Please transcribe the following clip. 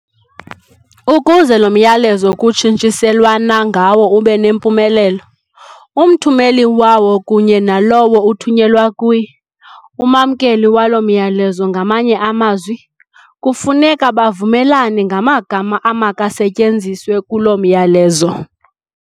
Ukuze loo myalezo kutshintshiselwana ngawo ubenempumelelo, umthumeli wawo kunye nalowo uthunyelwa kuye, umamkeli walo myalezo ngamanye amazwi, kufuneka bavumelane ngamagama amakasetyenziswe kulo myalezo.